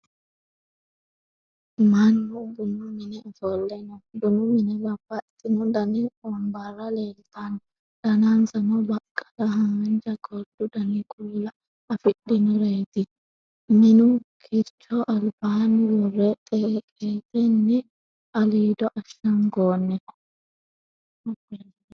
Mannu bunu mine ofolle no. Bunu mine babbaxino Dani wonbarra leeltanno. Danansano baqqala, haanja, gordu Dani kuula afidhinoreeti. Minu kiricho albaanni worre xeeqetenni aliido ashshangoonniho.